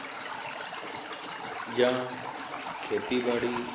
ਜਾਂ ਖੇਤੀ ਬਾੜੀ